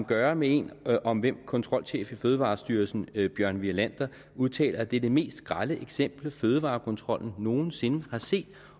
gøre med en om hvem kontrolchef i fødevarestyrelsen bjørn wirlander udtaler at det er det mest grelle eksempel fødevarekontrollen nogen sinde har set